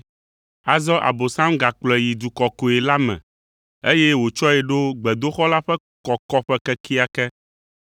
Azɔ Abosam gakplɔe yi du kɔkɔe la me eye wòtsɔe ɖo gbedoxɔ la ƒe kɔkɔƒe kekeake.